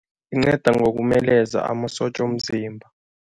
Inceda ngokumeleza amasotja womzimba.